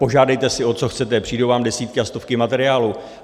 Požádejte si, o co chcete, přijdou vám desítky a stovky materiálů.